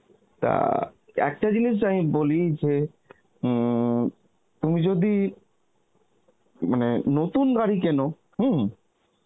তা, একটা জিনিস আমি বলি যে উম তুমি যদি মানে নতুন গাড়ি কেন হম